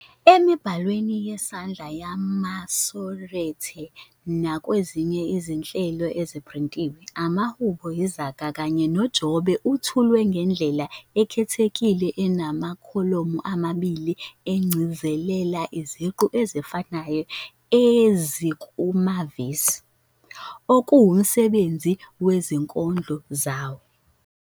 Emibhalweni yesandla yamaMasorete, nakwezinye izinhlelo eziphrintiwe, amaHubo, iZaga kanye noJobe ethulwa ngendlela ekhethekile enamakholomu amabili egcizelela iziqu ezifanayo ezikumavesi, okuwumsebenzi wezinkondlo zawo.